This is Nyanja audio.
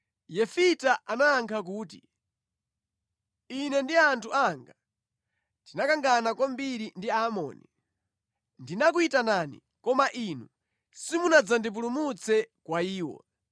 Yefita anayankha kuti, “Ine ndi anthu anga tinakangana kwambiri ndi Aamoni. Ndinakuyitanani koma inu simunandipulumutse mʼmanja mwawo.